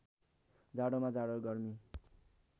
जाडोमा जाडो गर्मी